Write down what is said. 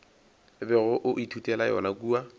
bego o ithutela yona kua